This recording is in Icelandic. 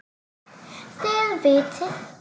Þið vitið.